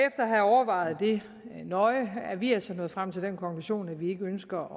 at have overvejet det nøje er vi altså nået frem til den konklusion at vi ikke ønsker